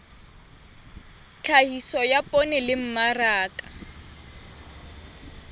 tlhahiso ya poone le mmaraka